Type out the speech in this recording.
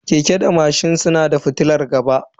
Keke da mashin suna da fitilar gaba.